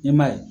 Ɲɛmaa ye